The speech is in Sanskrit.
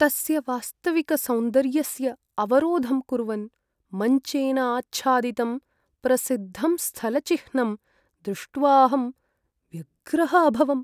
तस्य वास्तविकसौन्दर्यस्य अवरोधं कुर्वन् मञ्चेन आच्छादितं प्रसिद्धं स्थलचिह्नं दृष्ट्वाहं व्यग्रः अभवम्।